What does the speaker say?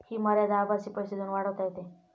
हि मर्यादा आभासी पैसे देऊन वाढवता येते.